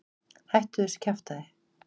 Hættu þessu kjaftæði.